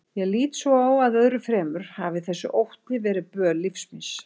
Ég lít svo á að öðru fremur hafi þessi ótti verið böl lífs míns.